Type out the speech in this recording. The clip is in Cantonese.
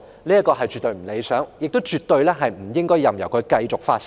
這絕不理想，更不應任由它繼續發生。